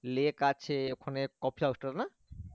lake আছে, ওখানে coffee house টা না?